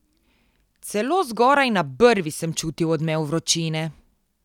Celo zgoraj na brvi sem čutil odmev vročine.